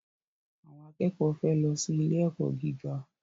Àwọn akẹ́kọ̀ọ́ fẹ́ lọ sí ilé-ẹ̀kọ́ gíga.